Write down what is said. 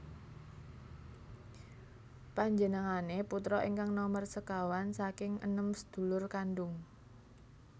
Panjenengane putra ingkang nomer sekawan saking enem sedulur kandung